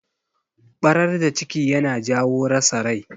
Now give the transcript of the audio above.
Barar da ciki yana jawo rasa rai.